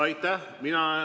Aitäh!